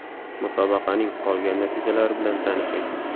Musobaqaning qolgan natijalari bilan tanishing: !